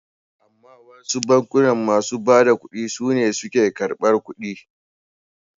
Amma wasu bankunan masu bada ƙuɗi sune suke ƙarbar ƙuɗi.